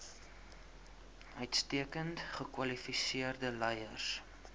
uitstekend gekwalifiseerde leiers